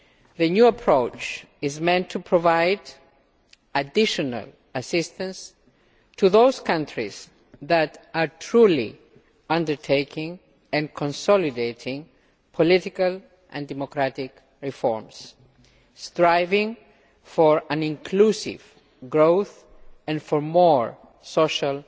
The new approach is meant to provide additional assistance to those countries that are truly undertaking and consolidating political and democratic reforms, striving for an inclusive growth and for more social